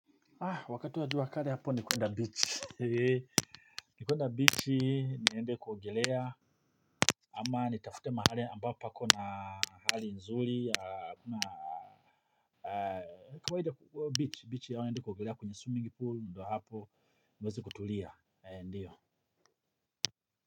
Wakati wa jua kali hapo ni kuenda beach eeh ni kuenda beach niende kuogelea ama ni tafute mahali ambao pako na hali nzuri ya amaa kawaida beach naenda kuogelea kwenye swimming pool ndo hapo niweze kutulia.